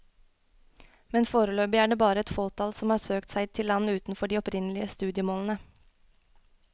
Men foreløpig er det bare et fåtall som har søkt seg til land utenfor de opprinnelige studiemålene.